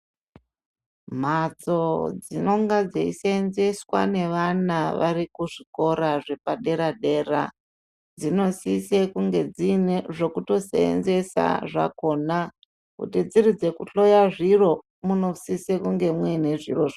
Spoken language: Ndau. Mbatso dzinenge dzeisevenzeswa nevana vari kuzvikora zvepadera dera dzinosisa kunge dzine zvekutosevenzesa zvakona. Kuti dziri dzekuhloya zviro munosisa mune zviro zvacho.